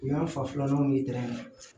U y'an fa filananw ye